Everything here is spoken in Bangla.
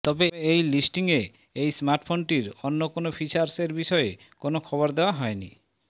তবে এই লিস্টিং এ এই স্মার্টফোনটির অন্য কোন ফিচার্স এর বিষয়ে কোন খবর দেওয়া হয়নি